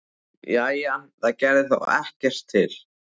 Jæja, það gerði þá ekkert til.